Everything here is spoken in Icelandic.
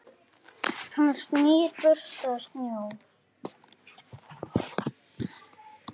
Hann snýr burst að sjó.